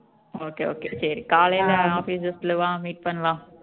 okay okay சரி காலையில office bus ல வா meet பண்ணலாம்